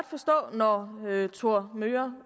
forstå at thor möger